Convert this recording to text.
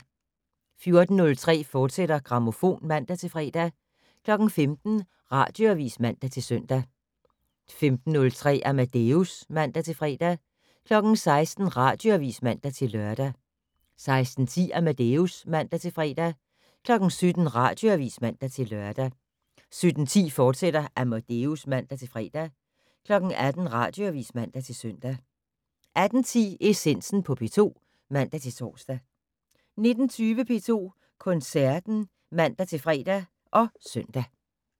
14:03: Grammofon, fortsat (man-fre) 15:00: Radioavis (man-søn) 15:03: Amadeus (man-fre) 16:00: Radioavis (man-lør) 16:10: Amadeus (man-fre) 17:00: Radioavis (man-lør) 17:10: Amadeus, fortsat (man-fre) 18:00: Radioavis (man-søn) 18:10: Essensen på P2 (man-tor) 19:20: P2 Koncerten (man-fre og søn)